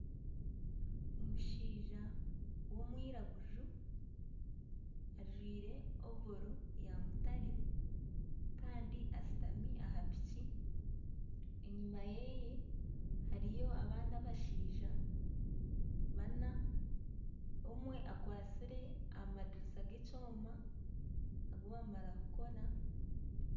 Omushaija w'omwiraguju ajwaire ovoro yaamutare kandi ashutami aha piki enyuma yeye hariyo abandi abashaija baana omwe akwatsire amadirisa g'ekyoma ogu baamara kukora